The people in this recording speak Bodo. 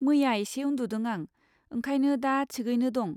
मैया एसे उनदुदों आं, ओंखायनो दा थिगैनो दं।